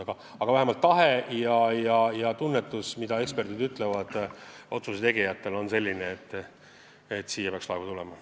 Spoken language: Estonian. Aga ekspertide tunnetus ja otsuste tegijate tahe on selline, et siia peaks laevu tulema.